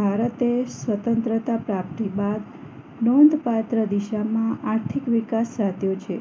ભારતે સ્વતંત્રતા પ્રાપ્તિ બાદ નોંધપાત્ર દિશામાં આર્થિક વિકાસ સાધ્યો છે